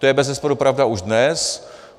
To je bezesporu pravda už dnes.